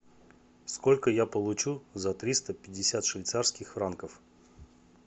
сколько я получу за триста пятьдесят швейцарских франков